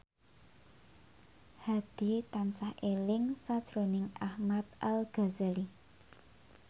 Hadi tansah eling sakjroning Ahmad Al Ghazali